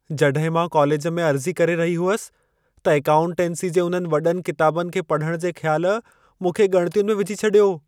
जॾहिं मां कॉलेज में अर्ज़ी करे रही हुयसि त एकाउंटेंसी जे उन्हनि वॾनि किताबनि खे पढ़ण जे ख़्यालु मूंखे ॻणितियुनि में विझी छडि॒यो।